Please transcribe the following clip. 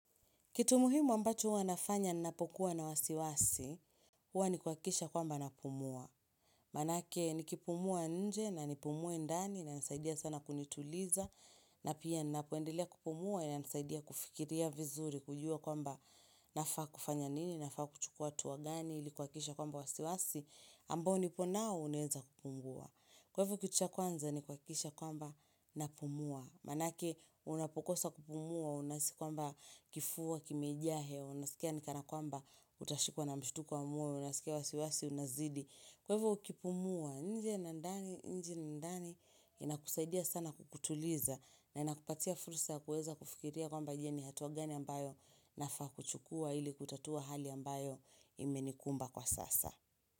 Kitu muhimu ambacho wa nafanya nnapokuwa na wasiwasi, wani kwakisha kwamba napumua. Manake nikipumua nje na nipumue ndani nanisaidia sana kunituliza na pia nnapoendelea kupumua na nisaidia kufikiria vizuri kujua kwamba nafaa kufanya nini, nafaa kuchukua hatuwa gani, likwakikisha kwamba wasiwasi, ambao niponao uneza kupungua. Kwa hivyo kitu cha kwanza nikwakisha kwamba napumua. Manake unapokosa kupumua, unasi kwamba kifua, kimejahe, unasikia nikana kwamba utashikuwa na mshutu kwa moyo, unasikia wasiwasi, unazidi Kwa hivo ukipumua, nje na ndani, nje na ndani, inakusaidia sana kukutuliza na inakupatia furusa kuweza kufikiria kwamba je ni hatuwa gani ambayo nafa kuchukua ili kutatua hali ambayo imenikumba kwa sasa.